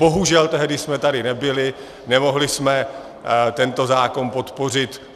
Bohužel, tehdy jsme tady nebyli, nemohli jsme tento zákon podpořit.